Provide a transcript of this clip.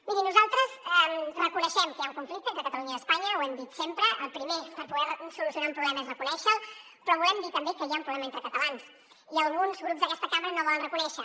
miri nosaltres reconeixem que hi ha un conflicte entre catalunya i espanya ho hem dit sempre el primer per poder solucionar un problema és reconèixer lo però volem dir també que hi ha un problema entre catalans i alguns grups d’aquesta cambra no ho volen reconèixer